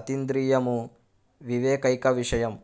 అతీంద్రియము వివేకైక విషయం